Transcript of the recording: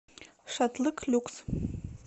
шатлык люкс